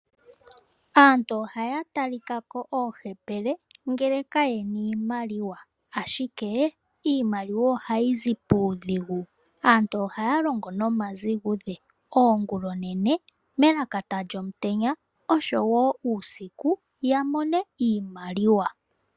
Aantu ohaya talikako oohepele ngele kayena iimaliwa, ashike iimaliwa ohayi zi puudhigu . Aantu ohaya longo nomazigudhe oongulaoonene, melakata lyomutenya oshowoo uusiku , yamone iimaliwa.